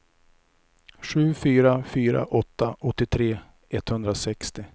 sju fyra fyra åtta åttiotre etthundrasextio